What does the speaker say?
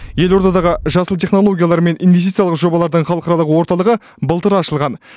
елордадағы жасыл технологиялар мен инвестициялық жобалардың халықаралық орталығы былтыр ашылған